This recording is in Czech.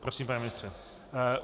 Prosím, pane ministře.